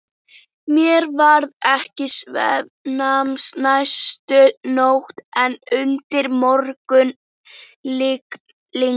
Mér varð ekki svefnsamt næstu nótt en undir morgun lygndi.